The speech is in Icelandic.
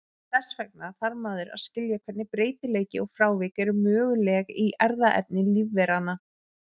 Þess vegna þarf maður að skilja hvernig breytileiki og frávik eru möguleg í erfðaefni lífveranna.